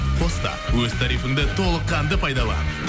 қос та өз тарифіңді толыққанды пайдалан